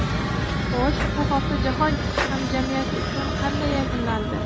Xo‘sh, bu hafta jahon hamjamiyati uchun qanday yakunlandi?